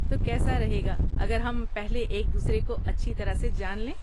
تو، کیسا رہے گا اگر ہم پہلے ایک دوسرے کو اچھی طرح سے جان لیں؟